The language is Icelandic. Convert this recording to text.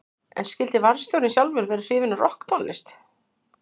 En skyldi varðstjórinn sjálfur vera hrifinn af rokktónlist?